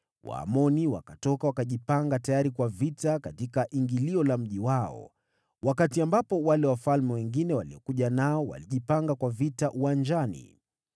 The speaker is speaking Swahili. Waamoni wakatoka wakajipanga wakiwa tayari kwa vita langoni la mji wao, wakati wale wafalme wengine waliokuja nao walijipanga kwa vita uwanjani.